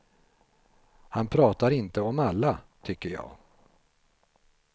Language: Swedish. Han pratar inte om alla, tycker jag.